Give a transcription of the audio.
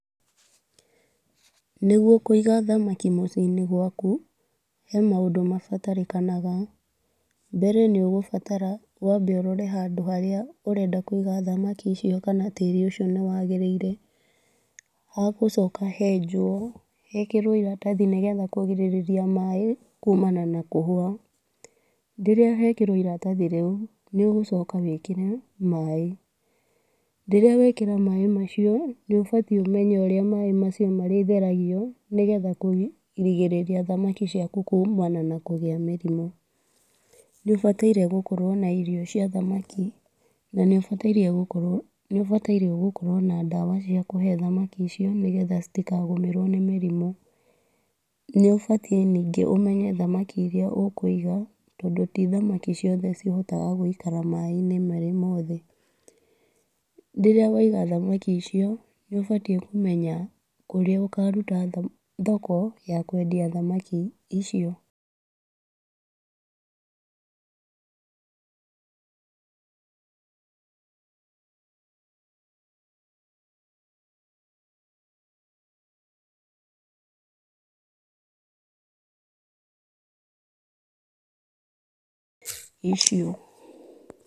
Nĩguo kũiga thamaki mũci-inĩ gwaku, he maũndũ mabataranĩkaga. Mbere nĩ ũgũbatara wambe ũrore handũ harĩa ũrenda kũiga thamaki icio kana tĩri ũcio nĩ wagĩrĩire. Hagũcoka henjwo hekerwo iratathi nĩgetha kũgirĩrĩria maĩ kumana na kũhũa. Rĩrĩa hekĩrwo irathi rĩu nĩ ũgũcoka wĩkĩre maĩ. Rĩrĩa wekĩra maĩ macio nĩ ũbatiĩ ũmenye ũrĩa macio marĩtheragio nĩgetha kũrigĩrĩria thamaki ciaku kumana na kũgĩa mĩrimũ. Nĩ ũbatairwo gũkorwo na irio cia thamaki na nĩ ũbatairwo gũkorwo, nĩ ũbatairwo gũkorwo na ndawa cia kũhe thamaki icio nĩgetha citikagũmĩrwo nĩ mĩrimũ. Nĩ ũbatiĩ ningĩ ũmenye thamaki iria ũkũiga tondũ ti thamaki ciothe cihotaga gũikara maĩ-inĩ marĩ mothe. Rĩrĩa waiga thamaki icio nĩ ũbatiĩ kũmenya kũrĩa ũkaruta thoko ya kwendia thamaki icio.